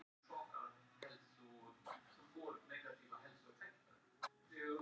Hafþór Gunnarsson: Hvert verður nú fyrsta verkið þegar þú ert komin í sætið á Alþingi?